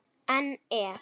En ef?